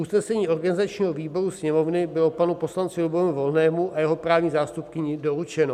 Usnesení organizačního výboru Sněmovny bylo panu poslanci Lubomíru Volnému a jeho právní zástupkyni doručeno.